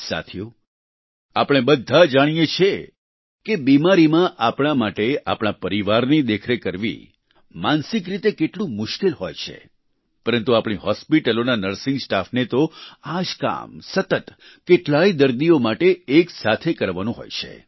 સાથીઓ આપણે બધા જાણીએ છીએ કે બિમારીમાં આપણા માટે આપણા પરિવારની દેખરેખ કરવી માનસિક રીતે કેટલું મુશ્કેલ હોય છે પરંતુ આપણી હોસ્પિટલોના નર્સિંગ સ્ટાફને તો આ જ કામ સતત કેટલાય દર્દીઓ માટે એકસાથે કરવાનું હોય છે